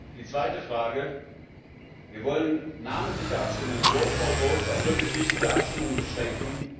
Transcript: Die zweite Frage Wir wollen namentliche Abstimmungen auf wirklich wichtige Abstimmungen beschränken.